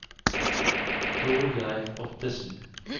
Torgeir Ottesen